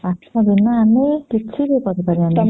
ପାଠ ବିନା ଆମେ କିଛି ବି କରି ପାରିବ ନାଇଁ